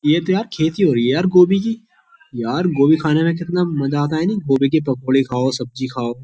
ये तो यार खेती हो रही है यार गोभी की यार गोभी खाने में कितना मजा आता है नहीं गोभी की पकौड़ी खाओ सब्जी खाओ।